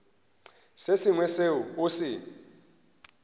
se sengwe seo o se